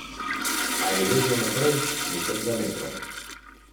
Če želimo napeto, sijočo in gladko polt, se lahko zanesemo nanjo.